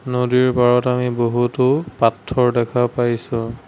নদীৰ পাৰত আমি বহুতো পাথৰ দেখা পাইছোঁ।